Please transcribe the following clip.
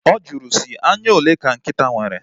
Ọ jụrụ sị, anya ole ka nkịta nwere?